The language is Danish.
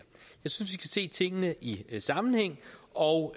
synes vi se tingene i sammenhæng og